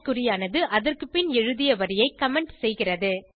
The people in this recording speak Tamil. குறியானது அதற்குபின் எழுதிய வரியை கமெண்ட் செய்கிறது